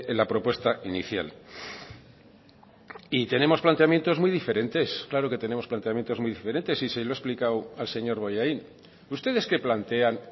la propuesta inicial y tenemos planteamientos muy diferentes claro que tenemos planteamientos muy diferentes y se lo he explicado al señor bollain ustedes qué plantean